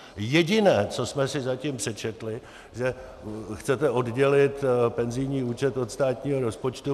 Jediné, co jsme si zatím přečetli, že chcete oddělit penzijní účet od státního rozpočtu.